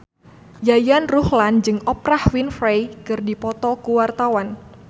Yayan Ruhlan jeung Oprah Winfrey keur dipoto ku wartawan